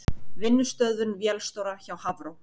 Vinnustöðvun vélstjóra hjá Hafró